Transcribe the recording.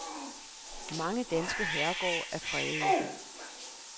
Mange danske herregårde er fredede.